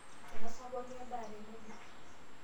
einosa pooki endaa tenebo